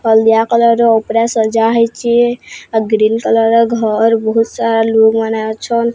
Haldia colour ର ଓପରେ ସଜାହେଇଚି ଆଉ ଗ୍ରୀନ୍ କଲର୍ ର ଘର୍ ବୋହୁତ୍ ସାଲ୍ ରୁମ୍ ମାନେ ଅଛନ୍।